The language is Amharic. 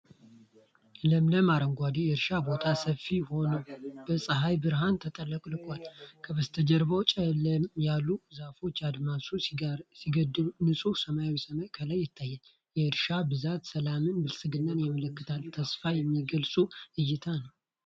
ለምለም አረንጓዴ የእርሻ ቦታ ሰፊ ሆኖ በፀሐይ ብርሃን ተጥለቅልቋል። ከበስተጀርባው ጨለምለም ያሉ ዛፎች አድማሱን ሲገድቡ፤ ንጹሕ ሰማያዊ ሰማይ ከላይ ይታያል። የእርሻው ብዛት ሰላምንና ብልጽግናን ያመለክታል፤ ተስፋን የሚገልጽ እይታ ነው።